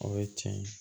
O ye tiɲɛ ye